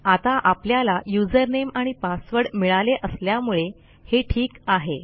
आता आपल्याला usernameआणि पासवर्ड मिळाले असल्यामुळे हे ठीक आहे